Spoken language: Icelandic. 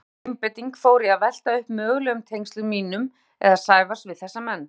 Gríðarleg einbeiting fór í að velta upp mögulegum tengslum mínum eða Sævars við þessa menn.